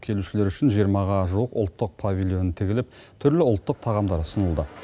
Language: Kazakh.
келушілер үшін жиырмаға жуық ұлттық павильон тігіліп түрлі ұлттық тағамдар ұсынылды